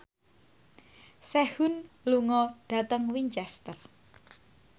Sehun lunga dhateng Winchester